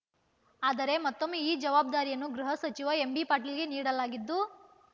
ಆದರೆ ಮತ್ತೊಮ್ಮೆ ಈ ಜವಾಬ್ದಾರಿಯನ್ನು ಗೃಹ ಸಚಿವ ಎಂಬಿ ಪಾಟೀಲ್‌ಗೆ ನೀಡಲಾಗಿದ್ದು